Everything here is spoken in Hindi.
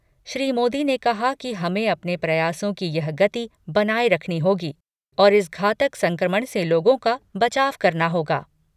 श्री मोदी ने कहा कि हमें अपने प्रयासों की यह गति बनाए रखनी होगी और इस घातक संक्रमण से लोगों का बचाव करना होगा।